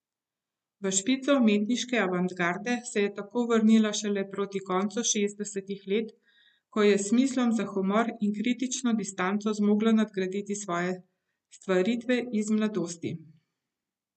V špico umetniške avantgarde se je tako vrnila šele proti koncu šestdesetih let, ko je s smislom za humor in kritično distanco zmogla nadgraditi svoje stvaritve iz mladosti.